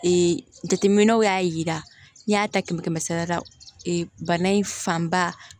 jateminɛw y'a yira n y'a ta kɛmɛ kɛmɛ sara la bana in fanba